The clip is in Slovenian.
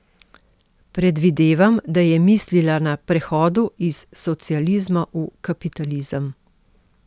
Predvidevam, da je mislila na prehodu iz socializma v kapitalizem.